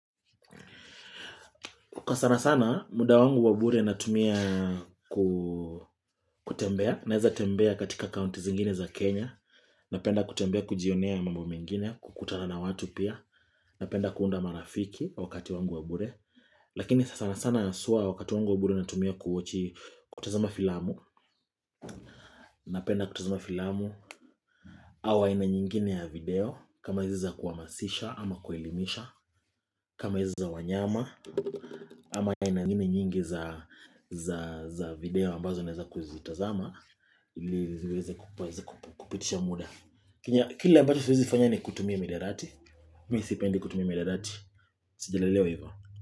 Kukasana sana muda wangu wabure natumia ku kutembea. Naeza tembea katika kaunti zingine za Kenya. Napenda kutembea kujionea mambo mengine kukutana na watu pia. Napenda kuunda marafiki wakati wangu wabure. Lakini sana sana haswa wakati wangu wabure natumia kuwochi kutazama filamu. Napenda kutazama filamu. Au aina nyingine ya video. Kama iziza kuamasisha ama kuelimisha. Kama iziza wanyama. Ama aina ngine nyingi za za video ambazo naeza kuzitazama ili liweze kup kueze kupitisha muda kila kile ambacho siwezi fanya ni kutumia midarati misipendi kutumia miadarati sijalelewa ivo.